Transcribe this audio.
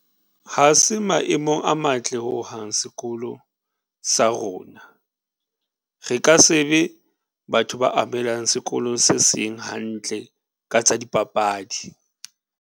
Ha se maemong a matle ho hang sekolo sa rona. Re ka sebe batho ba amohelang sekolo se seng hantle ka tsa dipapadi.